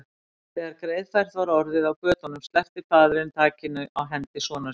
Þegar greiðfært var orðið á götunum sleppti faðirinn takinu á hendi sonar síns.